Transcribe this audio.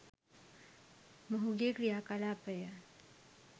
මොහුගේ ක්‍රියා කලාපය